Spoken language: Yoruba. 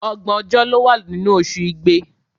Ọgbọ̀n ọjọ́ ló wà nínú oṣù Igbe.